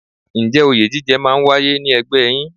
Ǹjẹ́ òye jíjẹ máa ń wáyé ní ẹgbẹ́ yín?